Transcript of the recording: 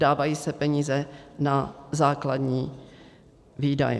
Dávají se peníze na základní výdaje.